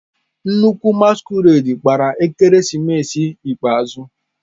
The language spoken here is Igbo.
Nnukwu masquerade gbara ekeresimesi ikpeazụ.